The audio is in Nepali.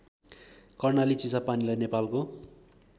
कर्णाली चिसापानीलाई नेपालको